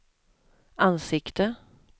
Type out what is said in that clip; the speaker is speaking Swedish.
ansikte